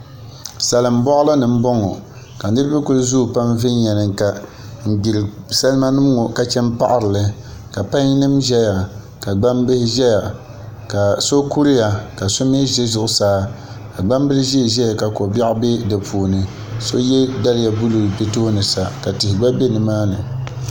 Salim boɣali ni n boŋo ka niraba kuli zooi pam viɛnyɛlinga n gbira salma nin ŋo ka chan paɣarili ka pai nim ʒɛya ka gbanbihi ʒɛya ka so kuriya ka so mii ʒɛ zuɣusaa ka gbambil ʒiɛ ʒɛya ka ko biɛɣu bɛ di puini so yɛ liiga buluu bi tooni sa ka tihi gba bɛ nimaani